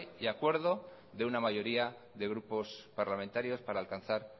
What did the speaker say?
y acuerdo de una mayoría de grupos parlamentarios para alcanzar